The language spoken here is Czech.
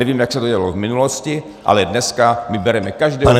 Nevím, jak se to dělalo v minulosti, ale dneska my bereme každého -